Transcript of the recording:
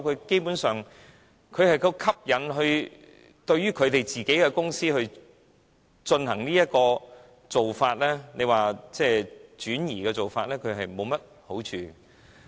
基本上，他們若吸引對於自己的公司採用這做法，即轉移的做法，是沒有好處的。